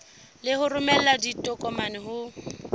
le ho romela ditokomane ho